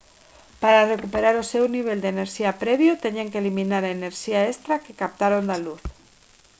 para recuperar o seu nivel de enerxía previo teñen que eliminar a enerxía extra que captaron da luz